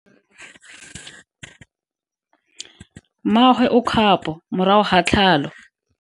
Mmagwe o kgapo morago ga tlhalo.